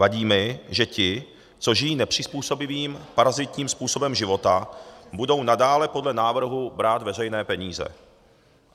Vadí mi, že ti, co žijí nepřizpůsobivým, parazitním způsobem života, budou nadále podle návrhu brát veřejné peníze.